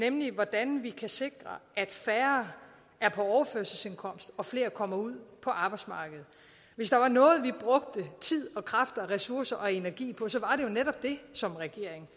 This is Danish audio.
nemlig hvordan vi kan sikre at færre er på overførselsindkomst og at flere kommer ud på arbejdsmarkedet hvis der var noget vi brugte tid og kræfter og ressourcer og energi på som regering